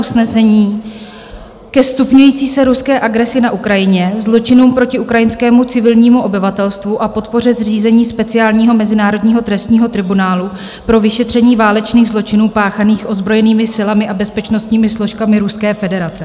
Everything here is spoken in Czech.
"Usnesení ke stupňující se ruské agresi na Ukrajině, zločinům proti ukrajinskému civilnímu obyvatelstvu a podpoře zřízení speciálního mezinárodního trestního tribunálu pro vyšetření válečných zločinů páchaných ozbrojenými silami a bezpečnostními složkami Ruské federace.